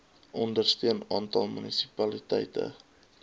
ondersteun aantal munisipaliteite